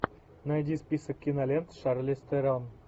найди список кинолент с шарлиз терон